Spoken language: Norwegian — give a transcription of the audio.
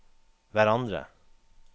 hverandre